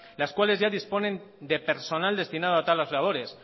las cuales ya disponen de personal destinado a tales labores